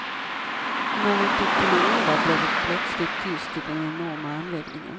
När han tog till orda, blev det plötsligt tyst i den enorma anläggningen.